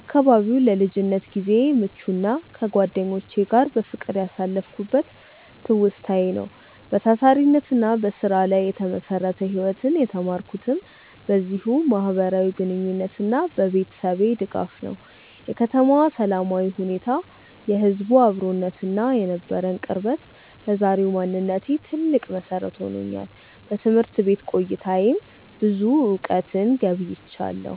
አካባቢው ለልጅነት ጊዜዬ ምቹና ከጓደኞቼ ጋር በፍቅር ያሳለፍኩበት ትውስታዬ ነው። በታታሪነትና በስራ ላይ የተመሰረተ ህይወትን የተማርኩትም በዚሁ ማህበራዊ ግንኙነትና በቤተሰቤ ድጋፍ ነው። የከተማዋ ሰላማዊ ሁኔታ፣ የህዝቡ አብሮነትና የነበረን ቅርበት ለዛሬው ማንነቴ ትልቅ መሰረት ሆኖኛል። በትምህርት ቤት ቆይታዬም ብዙ እውቀትን ገብይቻለሁ።